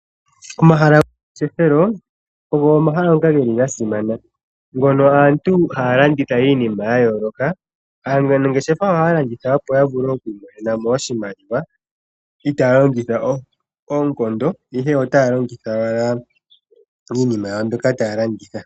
Omahala gomangeshefelo ogo omahala ngoka geli ga simana ngono aantu ha yalanditha iinima ya yooloka. Aanangeshefa oha ya landitha opo ya vule oku imonenamo oshimaliwa itaa yalongitha onkondo ihe ota ya longitha wala iinima yawo mbyoka ta yalanditha.